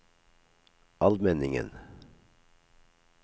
Almenningen